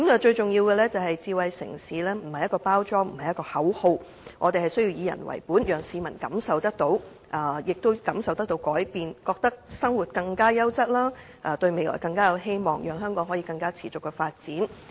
最重要的是，智慧城市並非一個包裝或口號，我們需要以人為本，讓市民感受到有改變，覺得他們的生活變得更加優質，對未來更有希望，讓香港可以更持續地發展。